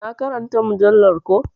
Na ƙaranta mujallar ko.